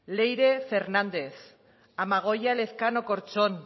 leire fernández amagoia elezkano corchon